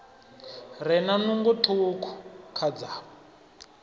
re na nungo ṱhukhu khadzavho